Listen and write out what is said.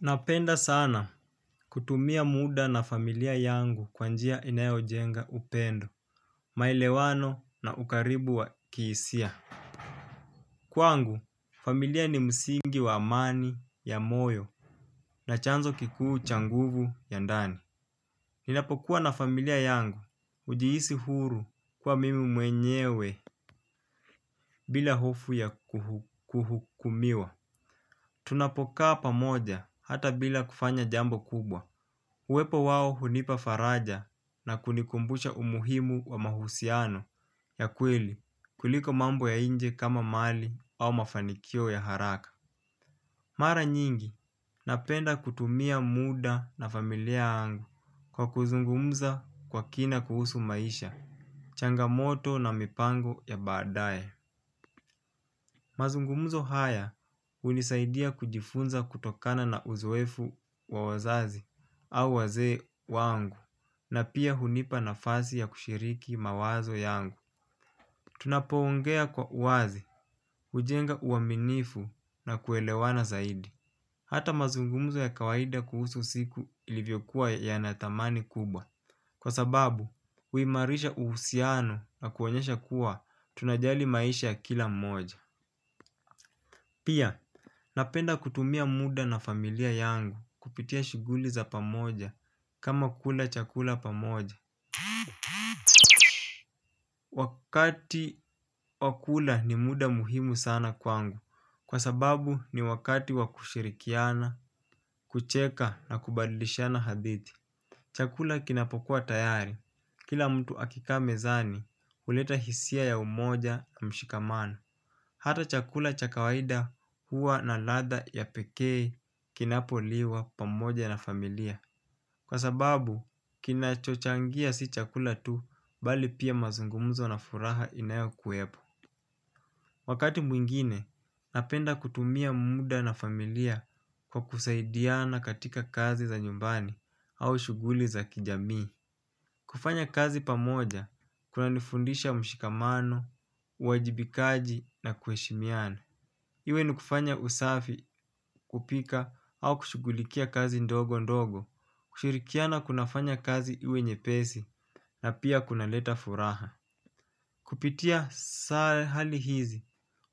Napenda sana kutumia muda na familia yangu kwa njia inayojenga upendo, maelewano na ukaribu wa kihisia. Kwangu, familia ni msingi wa amani ya moyo na chanzo kikuu cha nguvu ya ndani. Ninapokuwa na familia yangu hujiisi huru kuwa mimi mwenyewe bila hofu ya kuhukumiwa. Tunapokaa pamoja hata bila kufanya jambo kubwa. Uwepo wao hunipa faraja na kunikumbusha umuhimu wa mahusiano ya kweli kuliko mambo ya nje kama mali au mafanikio ya haraka. Mara nyingi napenda kutumia muda na familia yangu kwa kuzungumza kwa kina kuhusu maisha, changamoto na mipango ya badae. Mazungumuzo haya hunisaidia kujifunza kutokana na uzoefu wa wazazi au wazee wangu na pia hunipa nafasi ya kushiriki mawazo yangu. Tunapoongea kwa wazi, hujenga uaminifu na kuelewana zaidi. Hata mazungumuzo ya kawaida kuhusu siku ilivyokuwa yana thamani kubwa. Kwa sababu, huimarisha uhusiano na kuonyesha kuwa tunajali maisha kila mmoja. Pia, napenda kutumia muda na familia yangu kupitia shughuli za pamoja kama kula chakula pamoja. Wakati wa kula ni muda muhimu sana kwangu, kwa sababu ni wakati wakushirikiana, kucheka na kubadlishana hadithi. Chakula kinapokuwa tayari. Kila mtu akikaa mezani huleta hisia ya umoja na mshikamano. Hata chakula cha kawaida huwa na ladha ya pekee kinapoliwa pamoja na familia. Kwa sababu, kinacho changia si chakula tu, bali pia mazungumzo na furaha inayokuwepo. Wakati mwingine, napenda kutumia muda na familia kwa kusaidiana katika kazi za nyumbani au shughuli za kijamii. Kufanya kazi pamoja, kuna nifundisha mshikamano, uajibikaji na kuheshimiana. Iwe nukufanya usafi, kupika au kushughulikia kazi ndogo ndogo. Kushirikiana kuna fanya kazi iwe nye pesi na pia kunaleta furaha. Kupitia hali hizi,